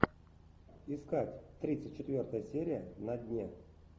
искать тридцать четвертая серия на дне